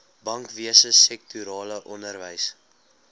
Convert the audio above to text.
bankwese sektorale onderwys